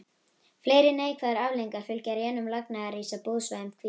Fleiri neikvæðar afleiðingar fylgja rénun lagnaðaríss á búsvæðum hvítabjarnarins.